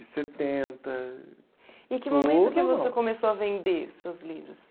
De setenta. E que momento que você começou a vender seus livros?